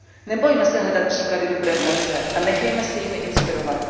Nebojme se hledat příklady dobré praxe a nechejme se jimi inspirovat.